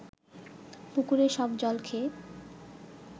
পুকুরের সব জল খেয়ে